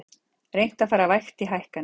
Reynt að fara vægt í hækkanir